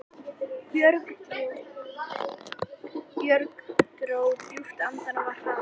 Björg dró djúpt andann og var hraðmælt